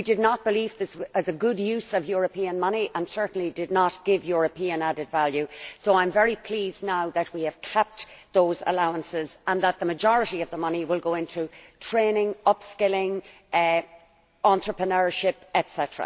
We did not believe this was a good use of European money and it certainly did not give European added value, so I am very pleased now that we have capped those allowances and that the majority of the money will go into training, up skilling, entrepreneurship, etc.